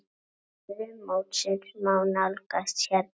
Stöðu mótsins má nálgast hérna.